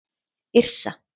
Yrsa